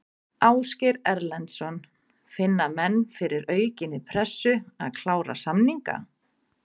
Ásgeir Erlendsson: Finna menn fyrir aukinni pressu, að klára samninga?